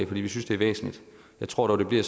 vi synes det er væsentligt jeg tror dog det bliver